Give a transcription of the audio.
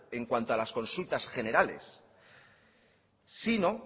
en cuanto a las consultas generales sino